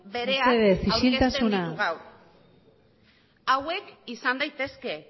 bereak aurkezten ditu gaur hauek izan daitezke